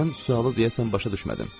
Mən sualı deyəsən başa düşmədim.